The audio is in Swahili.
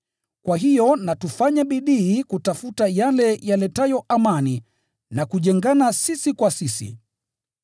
Kwa hiyo na tufanye bidii kutafuta yale yaletayo amani na kujengana sisi kwa sisi.